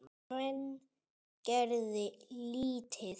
En gerði lítið.